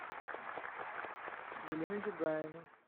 елена дюгаева